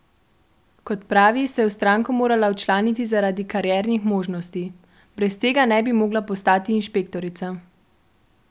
Kot pravi, se je v stranko morala včlaniti zaradi kariernih možnosti: "Brez tega ne bi mogla postati inšpektorica.